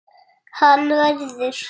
Hann verður.